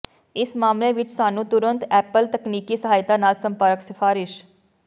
ਇਸ ਮਾਮਲੇ ਵਿੱਚ ਸਾਨੂੰ ਤੁਰੰਤ ਐਪਲ ਤਕਨੀਕੀ ਸਹਾਇਤਾ ਨਾਲ ਸੰਪਰਕ ਸਿਫਾਰਸ਼